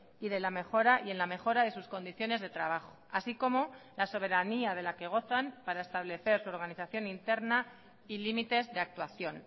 y de la mejora y en la mejora de sus condiciones de trabajo así como la soberanía de la que gozan para establecer su organización interna y límites de actuación